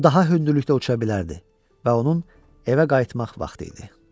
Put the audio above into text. O daha hündürlükdə uça bilərdi və onun evə qayıtmaq vaxtı idi.